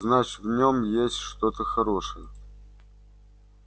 значит в нём есть что-то хорошее